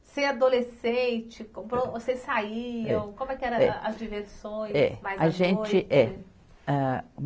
Ser adolescente, vocês saíam, como é que eram as diversões? É. A gente, eh